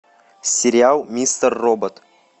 сериал мистер робот